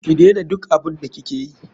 Ki dena duk abun da ki keyi.